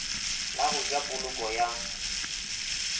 la go ja poloko ya